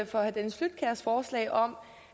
for herre dennis flydtkjærs forslag om